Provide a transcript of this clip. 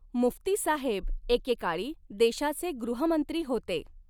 मुफ्तीसाहेब एके काळी देशाचे गृहमंत्री होते.